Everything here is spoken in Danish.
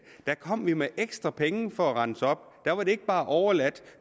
kom med ekstra penge for at rense op der var det ikke bare overladt